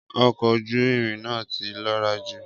Ọkọ ojú irin na ti lọra jù